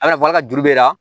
A nafa ka juru b'i la